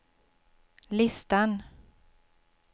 listan